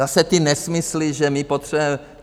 Zase ty nesmysly, že my potřebujeme...